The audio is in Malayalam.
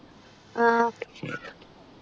ആഹ്